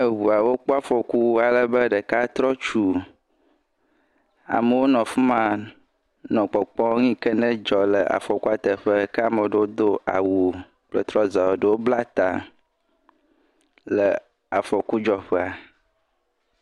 Eŋuawo kpɔ afɔku alebe ɖeka trɔ tu, amewo nɔ fi ma nɔ kpɔkpɔm, nu yike nedzɔ le afɔkua teƒea, ame ɖewo do awu kple trɔza, eɖewo bla ta le afɔkudzɔƒea.